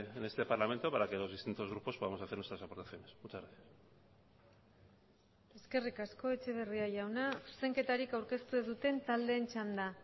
en este parlamento para que los distintos grupos podamos hacer nuestras aportaciones muchas gracias eskerrik asko etxeberria jauna zuzenketarik aurkeztu ez duten taldeen txanda